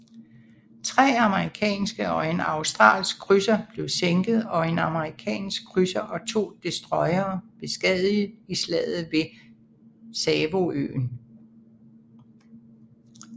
Tre amerikanske og en australsk krydser blev sænket og en amerikansk krydser og to destroyere beskadiget i slaget ved Savoøen